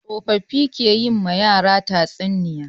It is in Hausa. Tsofaffi ke yi ma yara tatsuniya.